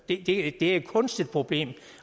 det er et kunstigt problem